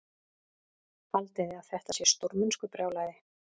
Haldiði að þetta sé stórmennskubrjálæði?